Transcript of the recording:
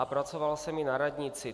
A pracoval jsem i na radnici.